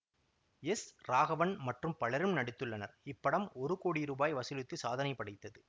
S Raghavan மற்றும் பலரும் நடித்துள்ளனர் இப்படம் ஒரு கோடி ரூபாய் வசூலித்து சாதனை படைத்தது